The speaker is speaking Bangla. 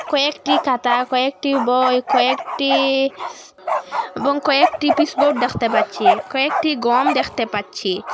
কয়েকটি খাতা কয়েকটি বই কয়েকটি এবং কয়েকটি পিচবোর্ড দেখতে পাচ্ছি কয়েকটি গম দেখতে পাচ্ছি।